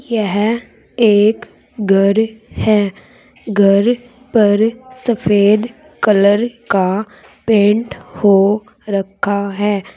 यह एक घर है घर पर सफेद कलर का पेंट हो रखा है।